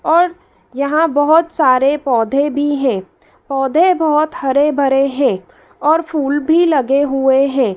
और यहां बहोत सारे पौधे भी हैं पौधे बहोत हरे-भरे हैं और फूल भी लगे हुए हैं।